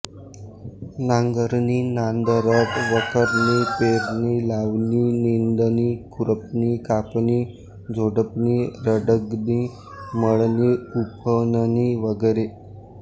नांगरणी नांदरट वखरणी पेरणी लावणी निंदणी खुरपणी कापणी झोडपणी रगडणी मळणी उफणणी वगैरे